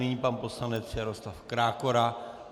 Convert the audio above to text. Nyní pan poslanec Jaroslav Krákora.